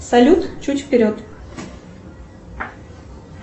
салют чуть вперед